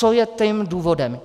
Co je tím důvodem?